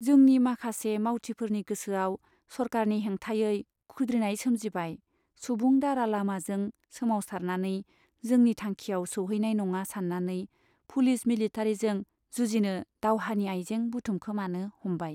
जोंनि माखासे मावथिफोरनि गोसोआव सरकारनि हेंथायै खुद्रिनाय सोमजिबाय सुबुं दारा लामाजों सोमावसारनानै जोंनि थांखियाव सौहैनाय नङा सान्नानै पुलिस मिलिटारीजों जुजिनो दावहानि आइजें बुथुमखोमानो हमबाय।